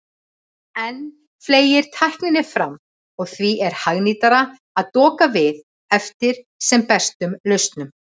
Enn fleygir tækninni fram og því er hagnýtara að doka við eftir sem bestum lausnum.